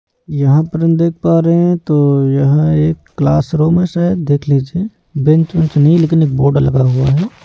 यहां पर हम देख पा रहे तो यह एक क्लासरूमस है देख लीजिए बेंच वेंच नहीं है लेकिन एक बोर्ड लगा हुआ है।